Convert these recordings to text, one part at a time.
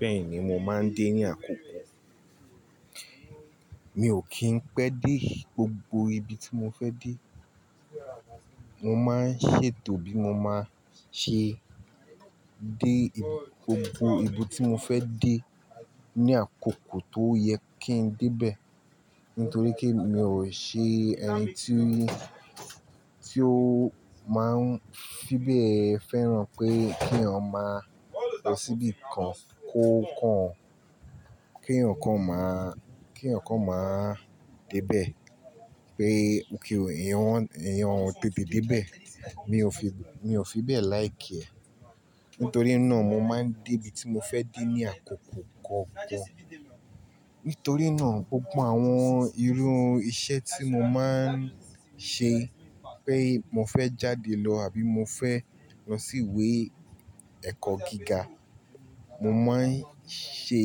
Bẹ́ẹ̀ni mo máa ń dé ní àkókò. Mi ò kí ń pẹ́ dé gbogbo ibi tí mo fẹ́ dé. Mo máa ń ṣètò bí mo máa ṣe dé ibi, gbogbo ibi tí mo fẹ́ dé ní àkókò tó yẹ kí n dé bẹ́ẹ̀. Nítorí pé mi ò ṣe ẹni tí ó, tí ó máa ń fi bẹ́ẹ̀ fẹ́ràn pé kí eeyan maa lọ síbi kan kó kàn án, kí eeyan kan máa, kí eeyan kan máa dé bẹ́ẹ̀ pé kí èèyàn, èèyàn tètè dé bẹ́ẹ̀. Mi ò fi, mi ò fi bẹ́ẹ̀ like ẹ. Nítorí náà mo máa ń dé ibi tí mo fẹ́ dé ní àkókò kọ̀ọ̀kan. Nítorí náà gbogbo àwọn irú iṣẹ́ tí mo máa ń ṣe pé mo fẹ́ jáde lọ àbí mo fẹ́ lọ sí ìwé ẹ̀kọ́ gíga, mo máa ń ṣe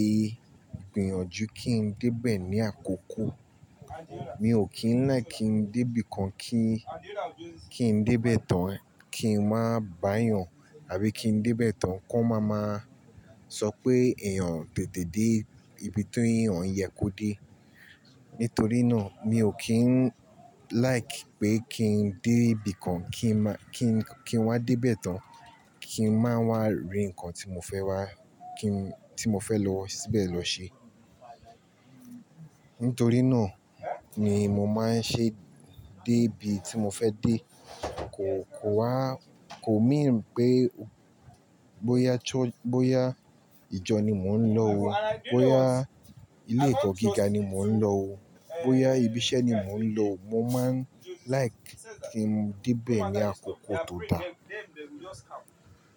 ìgbìyànjú kí n dé bẹ́ẹ̀ ní àkókò. Mi ò kí ń like kí n dé ibi kan kí n, kí n dé bẹ́ẹ̀ tán kí n máa bá eeyàn àbí kí n dé bẹ́ẹ̀ tán ki wón máa máa sọ pé èèyàn o tètè dé ibi tí èèyàn yẹ kó dé. Nítorí náà mi ò kí ń like pé kí n dé ibi kan kí n má, kí n, kí n wá dé bẹ́ẹ̀ tán kí n máa wá rí ǹkan tí mo fẹ́ wá, kí n, tí mo fẹ́ lọ síbẹ̀ lọ ṣe. Nítorí náà ni mo máa ń ṣe dé ibi tí mo fẹ́ dé kó, kó wá, kò mean pé bóyá tó, bóyá ìjọ ni mò ń lọ o, bóyá ilé ẹ̀kọ́ gíga ni mò ń lọ o, bóyá ibi iṣẹ́ ni mò ń lọ, mo máa ń like kí n dé bẹ́ẹ̀ ní àkókò tó dáa.